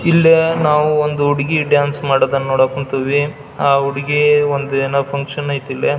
ಇಲ್ಲಿ ನಾವು ಒಂದು ಹುಡುಗಿ ಡಾನ್ಸ್ ಮಾಡೋದನ್ನ ನೋಡಕ್ ಹೊಂತಿವಿ ಆಹ್ಹ್ ಹುಡುಗಿ ಒಂದ್ ಏನ ಫುನ್ಕ್ಷನ್ ಐತ್ ಇಲ್ಲಿ.